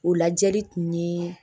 O lajɛli kun ye